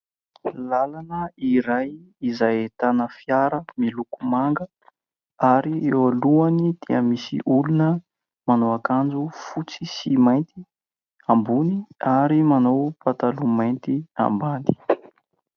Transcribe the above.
Làlana iray izay ahitana fiara miloko manga, ary eo alohany dia misy olona manao akanjo fotsy sy mainty ambony ary manao pataloha mainty ambany.